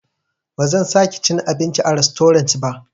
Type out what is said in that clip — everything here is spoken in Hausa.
Bazan sake cin abinci a rastorant ba.